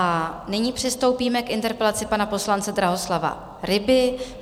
A nyní přistoupíme k interpelaci pana poslance Drahoslava Ryby.